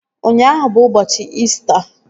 Ụnyaahụ bụ ụbọchị İsita